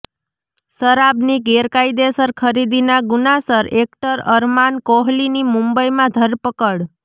શરાબની ગેરકાયદેસર ખરીદીના ગુનાસર એક્ટર અરમાન કોહલીની મુંબઈમાં ધરપકડ